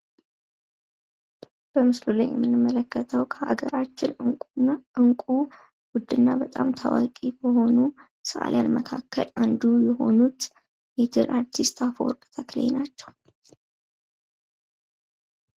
በምስሉ ላይ የምንመለከተው ከሀገራችን እንቁ ውድና በጣም ታዋቂ ከሆኑ ሰአሊያን መካከል አንዱ የሆኑት ሜትር አርቲስት አፈወርቅ ተክሌ ናቸው።